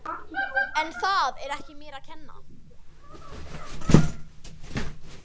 En það er ekki mér að kenna.